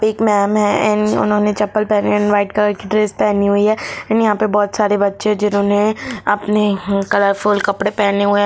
एक मैम है एन-- उन्होंने चप्पल पहनी हुई है एंड व्हाइट कलर की ड्रेस पहनी हुई है एंड यहां पर बहुत सारे बच्चे हैं जिन्होंने अपने कलर फुल कपड़े हुए हैं।